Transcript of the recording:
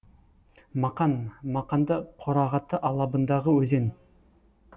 мақан мақанды қорағаты алабындағы өзен